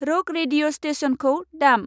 रक radio स्तेशनखौ दाम।